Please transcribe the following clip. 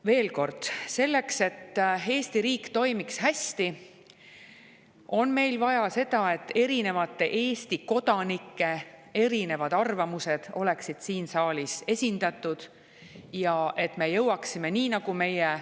Veel kord: selleks et Eesti riik toimiks hästi, on meil vaja seda, et erinevate Eesti kodanike erinevad arvamused oleksid siin saalis esindatud ja et me jõuaksime.